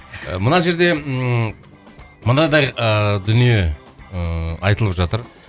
мына жерде ыыы мынадай ы дүние ыыы айтылып жатыр